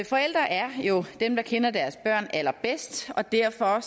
forældre er jo dem der kender deres børn allerbedst og derfor